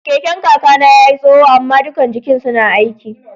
Keken kaka na ya yi tsoho ama dukan jikin suna aiki.